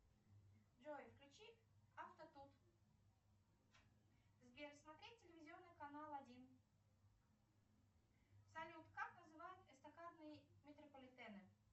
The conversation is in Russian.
джой включи авто тут сбер смотреть телевизионный канал один салют как называют эстакадные метрополитены